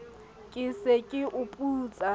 ke ke sa o putsa